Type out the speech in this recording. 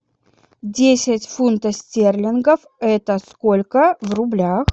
десять фунтов стерлингов это сколько в рублях